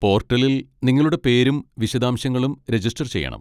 പോർട്ടലിൽ നിങ്ങളുടെ പേരും വിശദാംശങ്ങളും രജിസ്റ്റർ ചെയ്യണം.